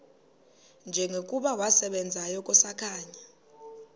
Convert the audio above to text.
njengokuba wasebenzayo kusakhanya